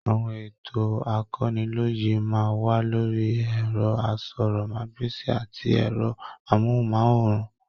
Àwọn ètò akọ́niloyè máa n wà lórí ẹrọ àsọ̀rọ̀mágbèsi àti ẹrọ amohunmaworan.